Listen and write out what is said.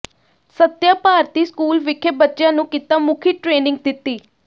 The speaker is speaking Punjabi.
ਸੱਤਿਆ ਭਾਰਤੀ ਸਕੂਲ ਵਿਖੇ ਬੱਚਿਆਂ ਨੂੰ ਕਿੱਤਾ ਮੁਖੀ ਟ੍ਰੇਨਿੰਗ ਦਿੱਤੀ